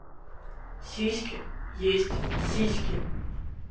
сиськи есть сиськи